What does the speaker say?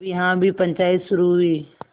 तब यहाँ भी पंचायत शुरू हुई